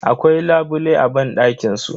Akwai labule a banɗakin su.